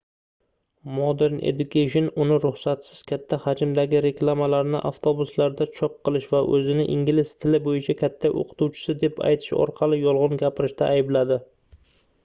modern education uni ruxsatsiz katta hajmdagi reklamalarni avtobuslarda chop qilish va oʻzini ingliz tili boʻyicha katta oʻqituvchisi deb aytish orqali yolgʻon gapirishda aybladi